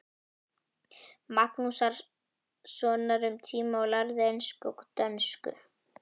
Magnússonar um tíma og lærðu ensku og dönsku.